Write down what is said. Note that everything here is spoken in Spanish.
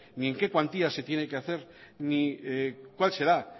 ni en qué cuantía se tiene que hacer ni cuál será